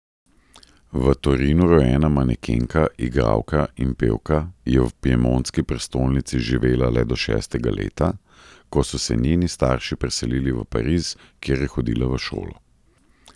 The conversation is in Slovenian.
V Torinu rojena manekenka, igralka in pevka je v piemontski prestolnici živela le do šestega leta, ko so se njeni starši preselili v Pariz, kjer je hodila v šolo.